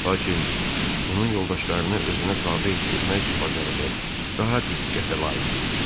Lakin onun yoldaşlarını özünə tabe etdirmək bacarığı daha diqqətə layiq idi.